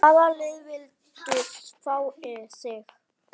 Hvaða lið vildu fá þig?